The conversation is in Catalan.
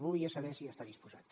volia saber si hi està disposat